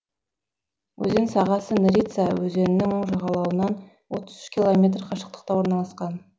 өзен сағасы нерица өзенінің оң жағалауынан отыз үш километр қашықтықта орналасқан